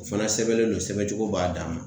O fana sɛbɛnlen don sɛbɛncogo b'a dan ma